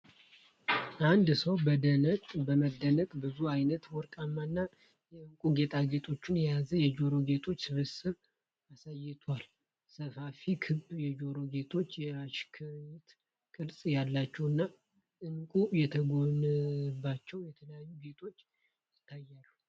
አንድ ሰው በመደነቅ ብዙ አይነት ወርቃማ እና የዕንቁ ጌጣጌጦችን የያዘ የጆሮ ጌጥ ስብስብ አሳይቷል። ሰፋፊ ክብ የጆሮ ጌጦች፣ የሽክርክሪት ቅርፅ ያላቸው እና ዕንቁ የተጎነጎነባቸው የተለያዩ ጌጦች ይታያሉ።